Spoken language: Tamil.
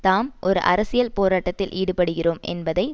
தாம் ஒரு அரசியல் போராட்டத்தில் ஈடுபடுகிறோம் என்பதை